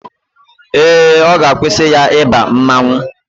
Ee, ọ ga-akwụsị ya ịba mmanwụ